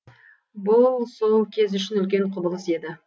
бұл сол кез үшін үлкен құбылыс еді